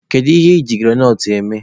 Gịnị ka I ji granọt eme?